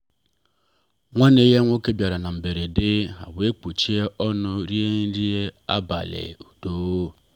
nwanne ya nwoke bịara na mberede ha wee kpochie ọnụ rie nri abalị ọnụ